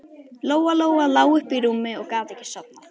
Lóa-Lóa lá uppi í rúmi og gat ekki sofnað.